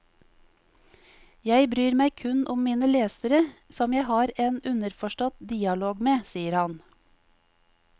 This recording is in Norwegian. Jeg bryr meg kun om mine lesere, som jeg har en underforstått dialog med, sier han.